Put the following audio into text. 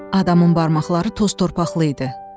Adamın barmaqları toz-torpaqlı idi.